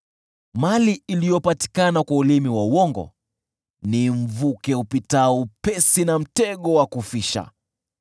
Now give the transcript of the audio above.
Mali iliyopatikana kwa ulimi wa uongo ni mvuke upitao upesi na mtego wa kufisha.